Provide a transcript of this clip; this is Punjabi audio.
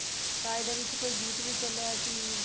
ਤਾਂ ਇਹਦੇ ਵਿੱਚ ਕੋਈ ਗੀਤ ਵੀ ਚੱਲਿਆ ਸੀ